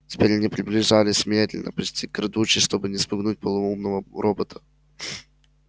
теперь они приближались медленно почти крадучись чтобы не спугнуть полоумного робота